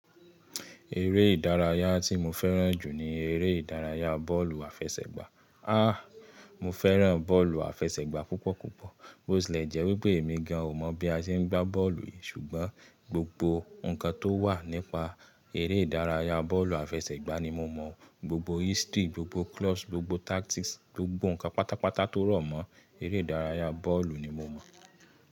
Eré ìdárayá tí mo fẹ́ràn jù ni eré ìdárayá bọ́ọ̀lù àfẹsẹ̀gbá. Ah! Mo fẹ́ràn bọ́ọ̀lù àfẹsẹ̀gbá púpọ̀ púpọ̀. Botilẹ jẹpe emi gan, ò mọ̀ bí a ṣe ń gbá bọ́ọ̀lù yìí ṣùgbọ́n gbogbo ǹkan tó wà nípa eré ìdárayá bọ́ọ̀lù àfẹsẹ̀gbá ni mo mọ̀. Gbogbo history, gbogbo clause, gbogbo tactics, gbogbo ǹkan pátápátá tó rọ̀ mọ́ eré ìdárayá bọ́ọ̀lù ni mo mọ̀